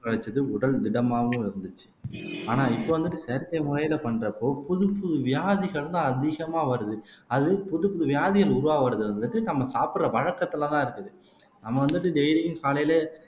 கிடைச்சது உடல் திடமாவும் இருந்துச்சு ஆனா இப்ப வந்துட்டு செயற்கை முறையில பண்றப்போ புதுப்புது வியாதிகள்தான் அதிகமா வருது அது புதுப்புது வியாதிகள் உருவாவதை வந்துட்டு நம்ம சாப்பிடற வழக்கத்துலதான் இருக்குது நம்ம வந்துட்டு டெய்லியும் காலையில